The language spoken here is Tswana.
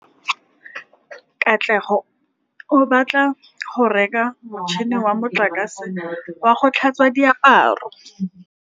Katlego o batla go reka motšhine wa motlakase wa go tlhatswa diaparo.